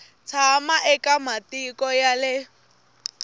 tshama eka matiko ya le